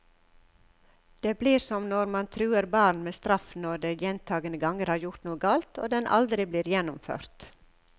Det blir som når man truer barn med straff når de gjentagende ganger har gjort noe galt, og den aldri blir gjennomført.